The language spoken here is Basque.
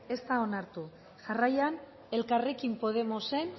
ez da onartu jarraian elkarrekin podemosen